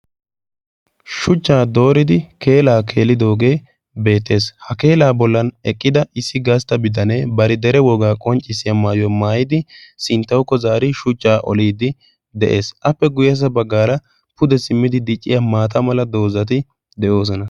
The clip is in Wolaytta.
shuchchaa dooridi keelaa keelidoogee beettees ha keelaa bollan eqqida issi gaastta biddanee bari dere wogaa qonccissiya maayuwoi maayidi sinttawukko zaari shuchchaa oliiddi de'ees. appe guyyessa baggaara pude simmidi dicciya maata mala doozati de'oosona.